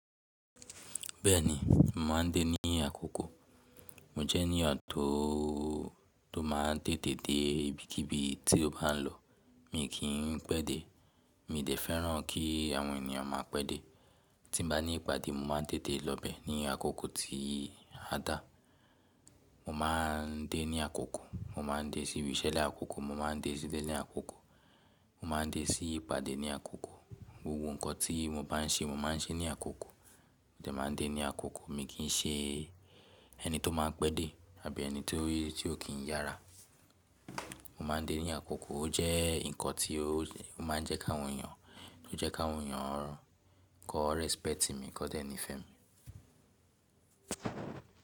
Bẹ́ẹ̀ni, mo máa ń dé ní àkókò. Mo jẹ́ ènìyàn tó, tó máa ń tètè dé ibikíbi tí ó bá lọ. Mi kì í pẹ́ dé, mi dẹ̀ fẹ́ràn kí àwọn ènìyàn máa pẹ́ dé. Tí n bá ní ìpàdé, mo máa ń tètè lọ bẹ́ẹ̀ ní àkókò tí a dà. Mo máa ń dé ní àkókò, mo máa ń dé sí ibi iṣẹ́ ní àkókò, mo máa ń dé sí ilé ní àkókò, mo máa ń dé sí ìpàdé ní àkókò. Gbogbo ǹkan tí mo bá ń ṣe, mo máa ń ṣe ní àkókò. Mo dẹ̀ máa ń dé ní àkókò. Mi kì í ṣe ẹni tó máa ń pẹ́ dé àbí ẹni tí ó kì íyára. Mo máa ń dé ní àkókò. Ó jẹ́ ǹkan tí ó máa ń jẹ́ káwọn èyàn, tí ó jẹ́ káwọn èyàn kó respect mi, kó dẹ̀ ní fẹ́ mi.